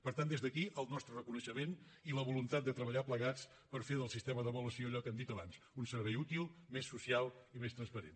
per tant des d’aquí el nostre reconeixement i la voluntat de treballar plegats per fer del sistema d’avaluació allò que hem dit abans un servei útil més social i més transparent